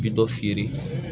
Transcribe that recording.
Bi dɔ feere